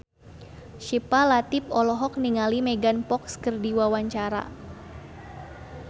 Syifa Latief olohok ningali Megan Fox keur diwawancara